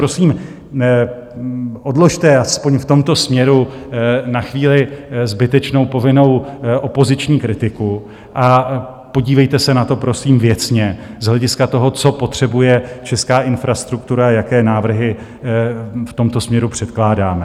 Prosím, odložte aspoň v tomto směru na chvíli zbytečnou povinnou opoziční kritiku a podívejte se na to prosím věcně z hlediska toho, co potřebuje česká infrastruktura, jaké návrhy v tomto směru předkládáme.